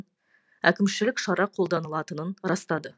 әкімшілік шара қолданылатынын растады